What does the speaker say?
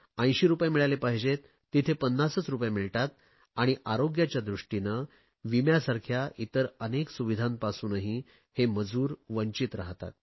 80 रुपये मिळाले पाहिजेत तिथे 50 रुपये मिळतात आणि आरोग्याच्या दृष्टीने विम्यासारख्या इतर अनेक सुविधांपासूनही हे मजूर वंचित राहतात